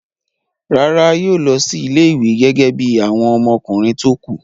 Rárá, yóò lọ sí ilé-ìwé gẹ́gẹ́ bí àwọn ọmọkùnrin tó kù.